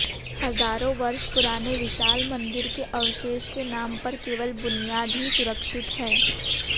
हजारो वर्ष पुराने विशाल मंदिर के अवशेष के नाम पर केवल बुनियाद ही सुरक्षित है